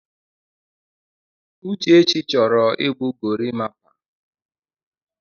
Uchechi chọrọ igbu gorimapa.